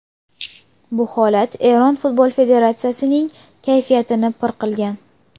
Bu holat Eron Futbol Federatsiyasining kayfiyatini pir qilgan.